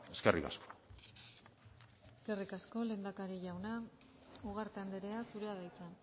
eskerrik asko eskerrik asko lehendakari jauna ugarte andrea zurea da hitza